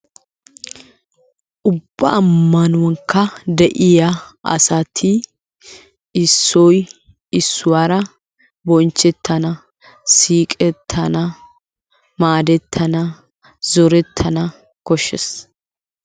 Ubba ammanuwankka de'iyaa asati issoy issuwaara bonchchetana, siiqetana, maadetana, zooretana koshshees.